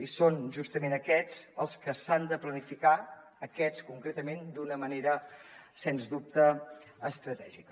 i són justament aquests els que s’han de planificar aquests concretament d’una manera sens dubte estratègica